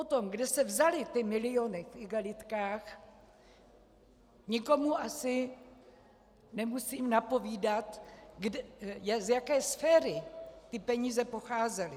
O tom, kde se vzaly ty miliony v igelitkách, nikomu asi nemusím napovídat, z jaké sféry ty peníze pocházely.